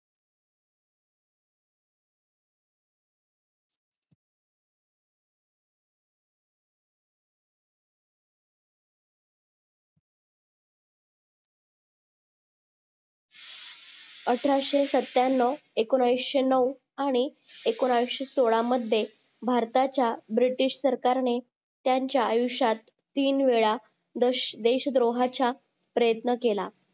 अठराशे सत्याण्णव एकोणयशी नऊ आणि एकोण्याशी सोळा मध्ये भारताचा भरतीच्या BRITISH सरकारने त्यांच्या आयुष्यात तीन वेळा देश द्रोहाचा प्रयत्न केला